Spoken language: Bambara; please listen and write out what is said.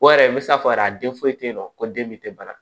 O yɛrɛ n bɛ se k'a fɔ yɛrɛ den foyi tɛ yen nɔ ko den min tɛ bara